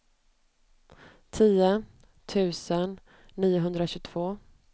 tio tusen niohundratjugotvå